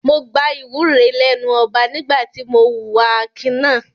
Mo gba ìwúre lẹ́nu ọba nígbà tí mo hùwà akin náà.